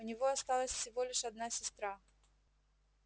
у него осталась всего лишь одна сестра